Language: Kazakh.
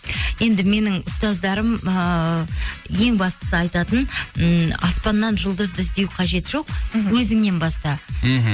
енді менің ұстаздарым ыыы ең бастысы айтатын ммм аспаннан жұлдызды іздеу қажеті жоқ мхм өзіңнен баста мхм